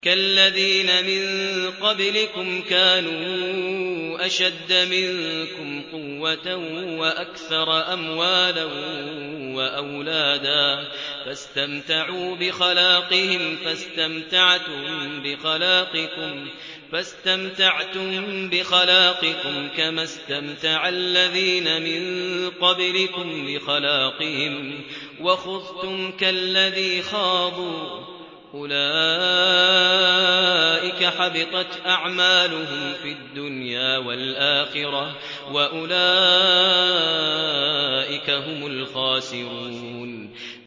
كَالَّذِينَ مِن قَبْلِكُمْ كَانُوا أَشَدَّ مِنكُمْ قُوَّةً وَأَكْثَرَ أَمْوَالًا وَأَوْلَادًا فَاسْتَمْتَعُوا بِخَلَاقِهِمْ فَاسْتَمْتَعْتُم بِخَلَاقِكُمْ كَمَا اسْتَمْتَعَ الَّذِينَ مِن قَبْلِكُم بِخَلَاقِهِمْ وَخُضْتُمْ كَالَّذِي خَاضُوا ۚ أُولَٰئِكَ حَبِطَتْ أَعْمَالُهُمْ فِي الدُّنْيَا وَالْآخِرَةِ ۖ وَأُولَٰئِكَ هُمُ الْخَاسِرُونَ